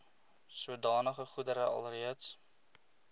sodanige goedere alreeds